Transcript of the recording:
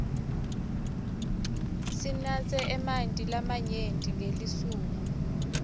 sinatse emanti lamanyenti ngelisuku